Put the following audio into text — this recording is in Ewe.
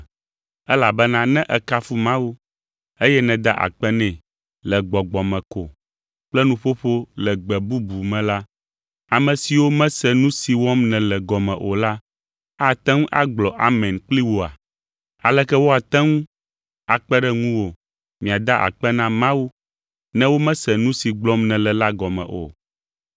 elabena ne èkafu Mawu, eye nèda akpe nɛ le gbɔgbɔ me ko kple nuƒoƒo le gbe bubu me la, ame siwo mese nu si wɔm nèle gɔme o la ate ŋu agblɔ “Amen” kpli wòa? Aleke woate ŋu akpe ɖe ŋuwò miada akpe na Mawu ne womese nu si gblɔm nèle la gɔme o?